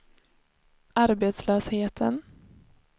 arbetslösheten